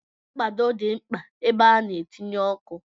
Mkpado dị mkpa ebe a na-etinye ọkụ.